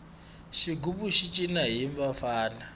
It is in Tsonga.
xigubu xi cina hi vafana